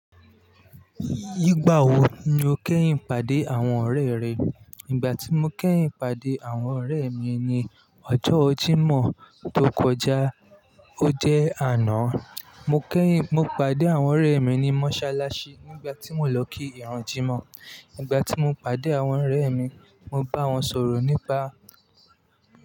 Nigbà wo ni o kẹ́yìn pàdé àwọn ọ̀rẹ́ rẹ? Ìgbà tí mo kẹ́yìn pàdé àwọn ọ̀rẹ́ mi ni ọjọ́ Jímọ̀ tó kọjá, o jẹ àná. Mo pàdé àwọn ọ̀rẹ́ mi ní mọ́sálásí nígbà tí mo lọ kí ìrun Jímọ̀. Nígbà tí mo pàdé àwọn ọ̀rẹ́ mi, mo bá wọn sọ̀rọ̀ nípa.